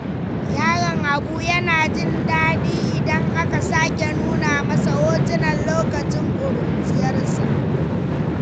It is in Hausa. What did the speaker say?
Yaron Habu yana jin daɗi idan aka sake nuna masa hotunan lokacin ƙuruciyarsa.